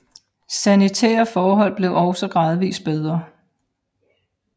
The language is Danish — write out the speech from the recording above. Sanitære forhold blev også gradvis bedre